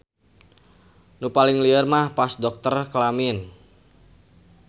Nu paling lieur mah pas dokter kelamin.